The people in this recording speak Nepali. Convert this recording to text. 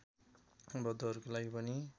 बौद्धहरूको लागि पनि